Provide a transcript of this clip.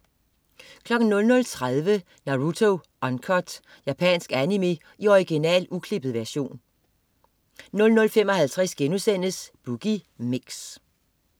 00.30 Naruto Uncut. Japansk animé i original, uklippet version 00.55 Boogie Mix*